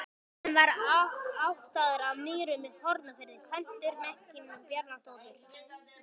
Hann var ættaður af Mýrum í Hornafirði, kvæntur Mekkínu Bjarnadóttur.